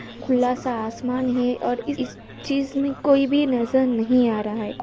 खुला सा आसमान है और इस चीज में कोई भी नजर नहीं आ रहा है।